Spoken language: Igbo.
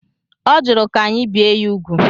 Ọ jụrụ ka anyị bịe ya úgwù.